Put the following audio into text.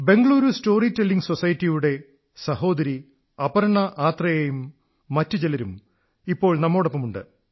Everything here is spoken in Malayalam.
ബംഗളൂരു സ്റ്റോറി ടെല്ലിംഗ് സൊസൈറ്റിയിലെ സഹോദരി അപർണ ആത്രേയയും മറ്റുചിലരും ഇപ്പോൾ നമ്മോടൊപ്പമുണ്ട്